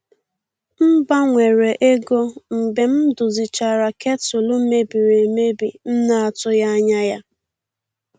M gbanwere ego mgbe m dozichara ketụlụ mebiri emebi m na-atụghị anya ya.